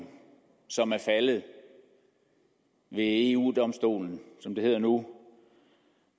som er faldet ved eu domstolen som det hedder nu